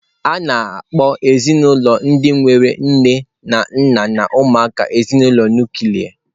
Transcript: A na-akpọ ezinụlọ ndị nwere nne na nna na ụmụaka ezinụlọ nuklia